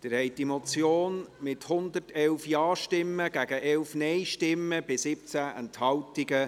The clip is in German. Sie haben die Motion angenommen, mit 111 Ja- gegen 11 Nein-Stimmen bei 17 Enthaltungen.